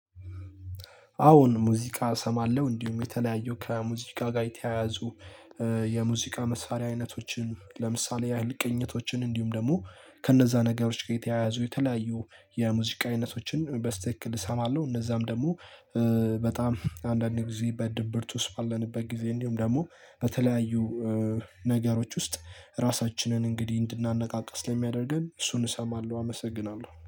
አዎን ሙዚቃ እሰማለሁ፣ እንዲሁም የተለያዩ ከሙዚቃ ጋር የተያያዙ የሙዚቃ መሳሪያ አይነቶችን ለምሳሌ ያህል ቅኝቶችን እንዲሁም ደግሞ ከነዛ ነገሮች ጋር የተያያዙ የተለያዩ የሙዚቃ አይነቶችን በስትክክል እሰማለሁ። እነዛም ደግሞ በጣም አንዳንድ ጊዜ በድብርት ውስጥ ባለንበት ጊዜ እንዲሁም ደግሞ በተለያዩ ነገሮች ውስጥ ራሳችንን እንግዲህ እንድናነቃቃ ስለሚያደርገን እሱን እሰማለሁ። አመሰግናለሁ።